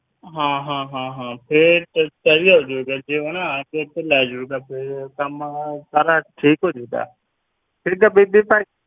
ਹਾਂ ਹਾਂ ਹਾਂ ਹਾਂ, ਫਿਰ ਫਿਰ ਤਾਂ ਜੀ ਆ ਜਾਊਗਾ, ਤੇ ਉਹ ਨਾ ਆ ਕੇ ਇੱਥੋਂ ਲੈ ਜਾਊਗਾ ਫਿਰ ਕੰਮ ਸਾਰਾ ਠੀਕ ਹੋ ਜਾਊਗਾ, ਠੀਕ ਹੈ ਬੀਬੀ ਭਾਈ।